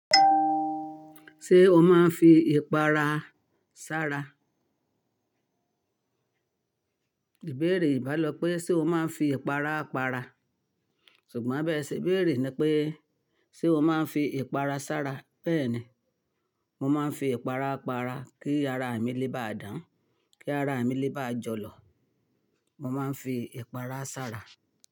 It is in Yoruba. Ṣé o máa ń fi ìpara sára? Ìbéèrè ìbálòpẹ́ pé ṣe o máa ń fi ìpara paara? Ṣùgbọ́n bẹ́ẹ ṣe béèrè ni pé, ṣe o máa ń fi ìpara sára? Bẹ́ẹ̀ni, mo máa ń fi ìpara para kí ara mi le ba à dán, kí ara mi lé ba à jọ̀lọ̀. Mo máa ń fi ìpara sára.